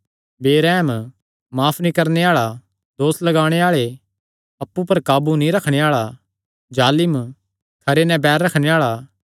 बेरैहम माफ नीं करणे आल़ा दोस लगाणे आल़े अप्पु पर काबू नीं रखणे आल़ा जालिम खरे नैं बैर रखणे आल़ा